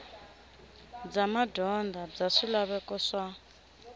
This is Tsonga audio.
bya madyondza bya swilaveko swa